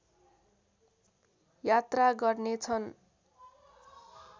यात्रा गर्नेछन्